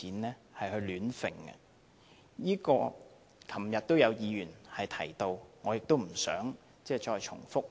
這點昨天也有議員提到，我不想重複。